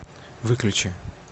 выключи